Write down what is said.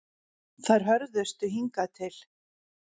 Þær hörðustu hingað til